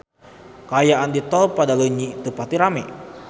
Kaayaan di Tol Padaleunyi teu pati rame